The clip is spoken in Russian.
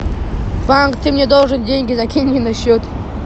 банк ты мне должен деньги закинь мне на счет